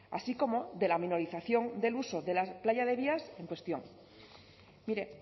así como de la minorización del uso de la playa de vías en cuestión mire